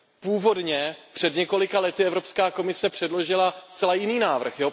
Původně před několika lety Evropská komise předložila zcela jiný návrh.